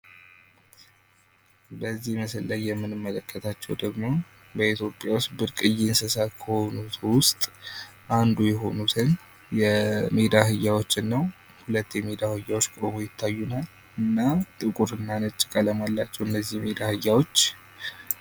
በዚህ ምስል ላይ የምንመለከተው ደግሞ በኢትዮጵያ ዉስጥ ብርቅዬ እንስሳት ከሆኑት ዉስጥ አንዱ የሆኑትን የሜዳ አህያዎችን ነው ፥ ሁለት የሜዳ አህያዎች ቁመው ይታዩናል እና ጥቁር እና ነጭ ቀለም አላቸው።